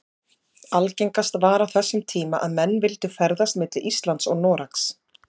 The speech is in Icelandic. Algengast var á þessum tíma að menn vildu ferðast milli Íslands og Noregs.